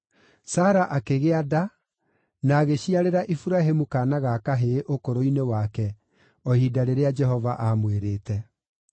Sara akĩgĩa nda, na agĩciarĩra Iburahĩmu kaana ga kahĩĩ ũkũrũ-inĩ wake, o ihinda rĩrĩa Jehova aamwĩrĩte.